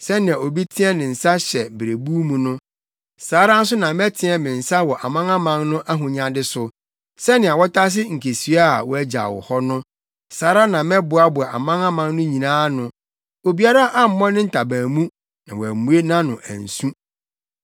Sɛnea obi teɛ ne nsa hyɛ berebuw mu no, saa ara nso na mɛteɛ me nsa wɔ amanaman no ahonyade so; sɛnea wɔtase nkesua a wɔagyaw hɔ no, saa ara na mɛboaboa amanaman no nyinaa ano; obiara ammɔ ne ntaban mu, na wammue nʼano ansu.’ ”